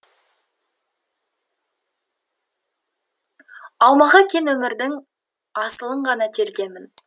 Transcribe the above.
аумағы кең өмірдің асылын ғана тергенмін